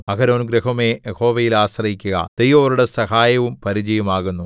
അഹരോൻഗൃഹമേ യഹോവയിൽ ആശ്രയിക്കുക ദൈവം അവരുടെ സഹായവും പരിചയും ആകുന്നു